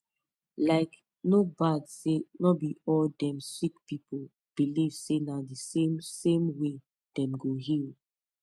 likee no bad say no be all dem sick pipu believe say na the same same way dem go heal